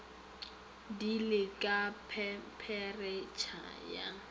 di le ka thempheretšha ya